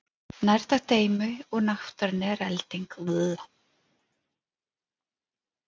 Nærtækt dæmi úr náttúrunni er elding.